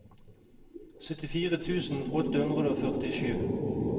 syttifire tusen åtte hundre og førtisju